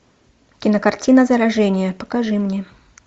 кинокартина заражение покажи мне